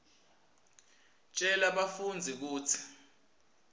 tjela bafundzi kutsi